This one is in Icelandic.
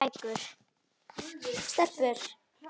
Lestu bækur.